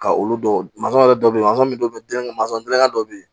Ka olu dɔw mansɔn yɛrɛ dɔ bɛ yen mansɔn min do mansɔn gilan dɔ bɛ yen